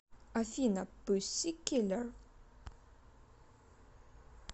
афина пуссикиллер